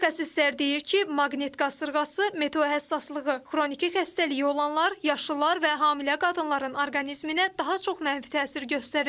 Mütəxəssislər deyir ki, maqnit qasırğası, meteohəssaslığı, xroniki xəstəliyi olanlar, yaşlılar və hamilə qadınların orqanizminə daha çox mənfi təsir göstərir.